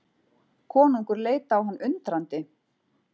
Konungur leit á hann undrandi.